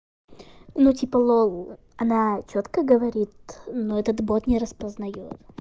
ну типа лол она чётко говорит но этот бот не распознаёт